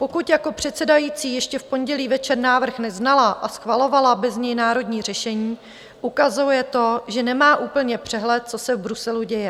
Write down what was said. Pokud jako předsedající ještě v pondělí večer návrh neznala a schvalovala bez něj národní řešení, ukazuje to, že nemá úplně přehled, co se v Bruselu děje.